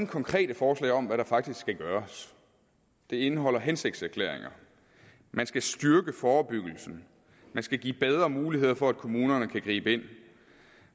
konkrete forslag om hvad der faktisk skal gøres det indeholder hensigtserklæringer man skal styrke forebyggelsen man skal give bedre mulighed for at kommunerne kan gribe ind